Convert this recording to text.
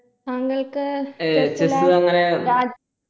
താങ്കൾക്ക്